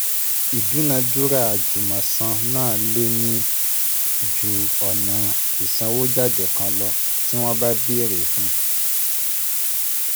Ìdúnadúrà àjùmọ̀san náà lè ní ju ọ̀nà ìsànwójáde kan lọ, tí wọ́n bá bẹ̀rẹ̀ fun